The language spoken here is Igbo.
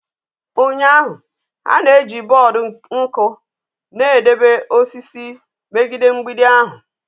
Ụnyahụ, ha na-eji bọọdụ nku na-edebe osisi megide mgbidi ahụ.